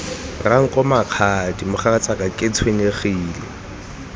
ranko mokgadi mogatsaka ke tshwenyegile